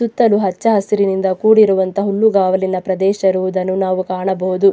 ಸುತ್ತಲೂ ಹಚ್ಚ ಹಸಿರಿನಿಂದ ಕೂಡಿರುವಂತಹ ಹುಲ್ಲುಗಾವಲಿನ ಪ್ರದೇಶ ಇರುವುದನ್ನು ನಾವು ಕಾಣಬಹುದು.